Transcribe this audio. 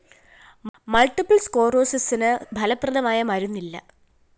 multiple‍ സ്‌കഌറോസിസിന് ഫലപ്രദമായ മരുന്ന് ഇല്ല